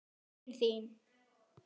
Bókin þín